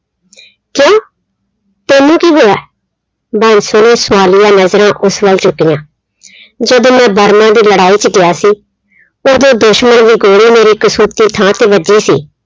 ਤੈਨੂੰ ਕੀ ਹੋਇਆ ਬਾਂਸੋ ਨੇ ਸਵਾਲੀਆ ਨਜ਼ਰਾਂ ਉਸ ਵੱਲ ਚੁੱਕੀਆਂ ਜਦੋਂ ਮੈਂ ਬਰਮਾ ਦੀ ਲੜਾਈ 'ਚ ਗਿਆ ਸੀ ਉਦੋਂ ਦੁਸ਼ਮਣ ਦੀ ਗੋਲੀ ਮੇਰੇ ਕਸ਼ੂਤੀ ਥਾਂ ਤੇ ਵੱਜੀ ਸੀ।